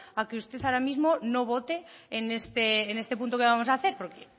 a que usted ahora mismo no vote en este punto que vamos a hacer porque